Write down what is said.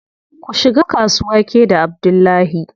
Ku shiga kasuwa ke da Abdullahi.